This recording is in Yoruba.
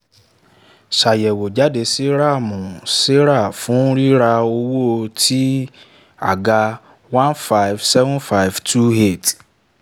ṣàyẹ̀wò jáde sí ram saran fún ríra owó tí àga one five seven five two eight